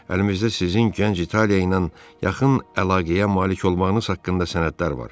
Əlimizdə sizin Gənc İtaliya ilə yaxın əlaqəyə malik olmağınız haqqında sənədlər var.